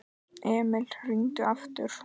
Emil hringdi aftur.